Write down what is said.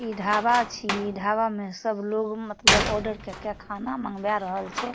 इ ढाबा छी ढाबा में सब लोग मतलब ऑर्डर काय के खाना मंगवा रहल छै।